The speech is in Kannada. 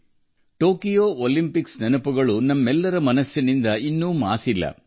ಟೋಕಿಯೊ ಒಲಿಂಪಿಕ್ಸ್ನ ನೆನಪುಗಳು ನಮ್ಮ ಮನಸ್ಸಿನಲ್ಲಿ ಇನ್ನೂ ಹಚ್ಚ ಹಸಿರಾಗಿ ಉಳಿದಿದೆ